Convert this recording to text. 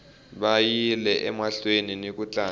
vayile emahlweni niku tlanga